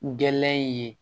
Gɛlɛya in ye